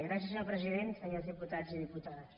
gràcies senyor president senyors diputats i diputades